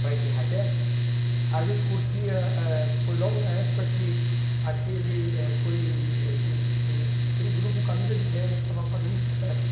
para esse raquete, a gente curtia, eh foi logo na época que aquele eh foi é que o que aquele grupo Camisa de Vênus estava fazendo sucesso.